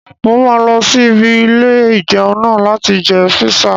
Mo máa lọ sí ibi ilé-ìjẹun náà láti jẹ píṣà